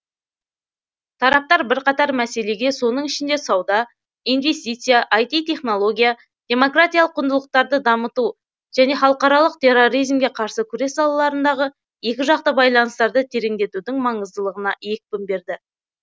тараптар бірқатар мәселеге соның ішінде сауда инвестиция іт технология демократиялық құндылықтарды дамыту және халықаралық терроризмге қарсы күрес салаларындағы екіжақты байланыстарды тереңдетудің маңыздылығына екпін берді